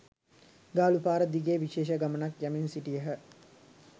ගාලු පාර දිගේ විශේෂ ගමනක්‌ යමින් සිටියහ.